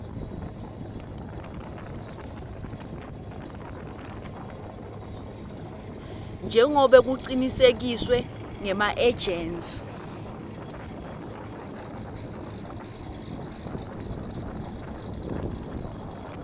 njengobe kucinisekiswe ngemaejensi